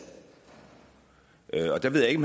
og der ved jeg ikke